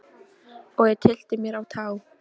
Og ég tyllti mér á tá.